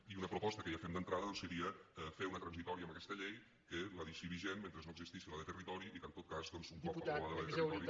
i una proposta que ja fem d’entrada doncs seria fer una transitòria en aquesta llei que la deixi vigent mentre no existeixi la de territori i que en tot cas un cop aprovada la de territori